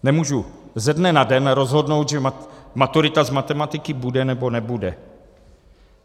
Nemůžu ze dne na den rozhodnout, že maturita z matematiky bude, nebo nebude.